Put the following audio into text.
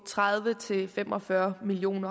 tredive til fem og fyrre million